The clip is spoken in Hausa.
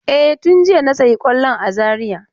E, tun jiya na sayi kwallon a Zariya.